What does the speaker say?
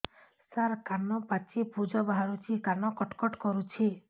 ସାର କାନ ପାଚି ପୂଜ ବାହାରୁଛି କାନ କଟ କଟ କରୁଛି